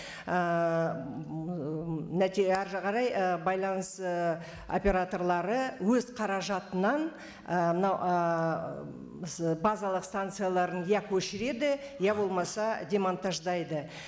ііі әрі қарай і байланыс ііі операторлары өз қаражатынан і мынау ііі базалық станцияларын иә көшіреді иә болмаса демонтаждайды